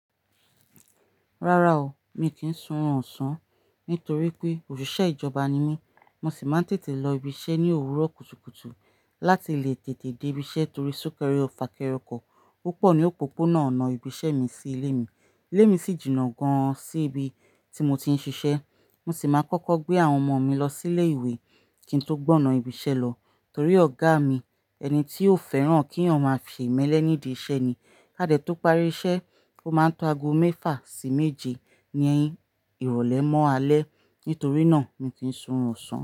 Rárá o, mi kìí sún oorun ọ̀sán. Nítorí pé òṣìṣẹ́ ìjọba ni mí, mo sì máa ń tètè lọ ibiṣẹ́ ní òwúrọ̀ kùtùkùtù láti lè tètè dé ibiṣẹ́ torí sunkérè fakére òkọ́ púpọ̀ ní òpópónà ọ̀nà ibiṣẹ́ mi sí ilé mi. Ilé mi sì jìnà gan-an sí ibi tí mo ti ń ṣiṣẹ́. Mo sì máa kọ́kọ́ gbé àwọn ọmọ mi lọ sí ilé-ìwé kí n tó gbọ̀na ibiṣẹ́ lọ torí ọ̀gá mi, ẹni tí ó fẹ́ràn kí eeyan máa fì imelẹ́ nídi iṣẹ́ ni. Kádẹ̀ tó parí iṣẹ́, ó máa ń to ago mẹ́fà sí méje ní ìrọ̀lẹ́ mọ́ alẹ́. Nítorí náà mi kìí sún ọ̀sán.